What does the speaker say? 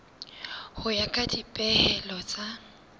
ho ya ka dipehelo tsa